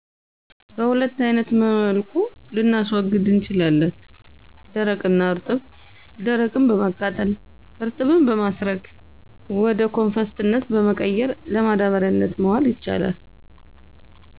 በሁለት አይነት መልኩ ልናስዉግድ እንችላለን ደረቅ እና እርጥብ ደርቅን በማቃጠል እርጥብን በማስረግ ወደኮፈስነት በመቀየር ለማዳበሪያነት መዋል ይቻላል።